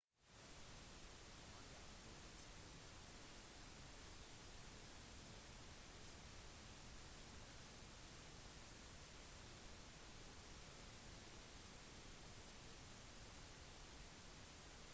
mange av deres forfattere har fortsatt å ha stor innflytelse på nyhetsparodi-programmene til jon stewart og stephen colberts